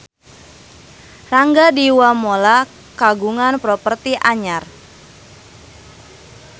Rangga Dewamoela kagungan properti anyar